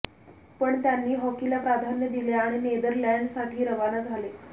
पण त्यांनी हॉकीला प्राधान्य दिले आणि नेदरलँड साठी रवाना झाले